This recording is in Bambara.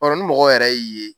B'a dɔn ni mɔgɔ yɛrɛ y'i ye